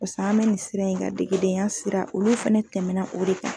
Paseke en bɛ nin siran in kan degedenya sira olu fɛnɛ tɛmɛna o de kan.